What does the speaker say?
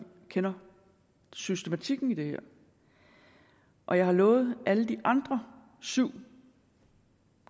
kender systematikken i det her og jeg har lovet alle de andre syv